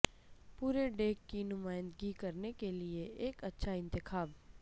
پورے ڈیک کی نمائندگی کرنے کے لئے ایک اچھا انتخاب